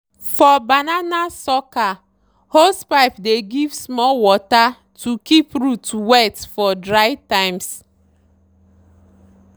for banana sucker hosepipe dey give small water to keep root wet for dry time.